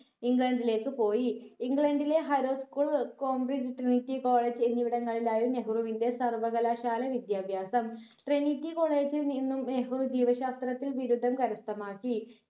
ഇംഗ്ലണ്ടിലേക്ക് പോയി ഇംഗ്ലണ്ടിലെ harrow schoolcambridge trinity college എന്നിവിടങ്ങളിലായിരുന്നു നെഹ്‌റുവിന്റെ സർവ്വകലാശാല വിദ്യാഭ്യാസം trinity college ൽ നിന്നും നെഹ്‌റു ജീവശാസ്ത്രത്തിൽ ബിരുദം കരസ്ഥമാക്കി